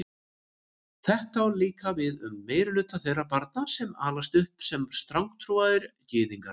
Þetta á líka við um meirihluta þeirra barna sem alast upp sem strangtrúaðir gyðingar.